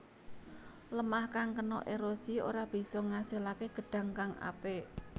Lêmah kang kena érosi ora bisa ngasilaké gedhang kang apik